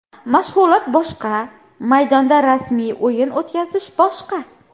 Mashg‘ulot boshqa, maydonda rasmiy o‘yin o‘tkazish boshqa.